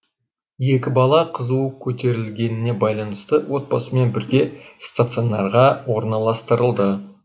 екі бала қызуы көтерілгеніне байланысты отбасымен бірге стационарға орналастырылды